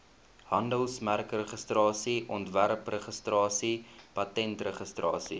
handelsmerkregistrasie ontwerpregistrasie patentregistrasie